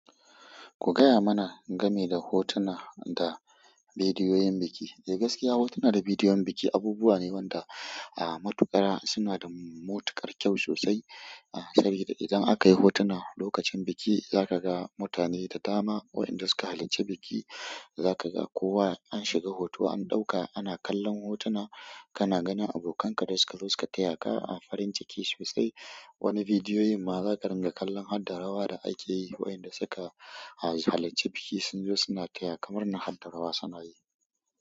Ku gaya mana game da hotuna da bidiyoyin biki. Eh gaskiya hotuna da bidiyon biki abubuwa ne wanda matuƙa suna da matuƙar kyau sosai. Sabida idan aka yi hotuna lokacin biki za ka ga mutane da dama wa'inda suka halarci biki. Za ka ga kowa an shiga hoto an ɗauka, ana kallon hotuna, kana ganin abokanka da suka zo suka taya ka a farin ciki sosai. Wani bidiyoyin ma za ka ringa kallon harda rawa da ake yi wa'inda suka halarci bikin sun zo suna taya ka murna harda rawa suna'a yi.